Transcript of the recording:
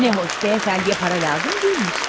Nə gözəl, cənab beyliyə pul lazım deyilmiş.